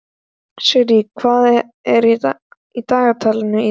Sirra, hvað er í dagatalinu í dag?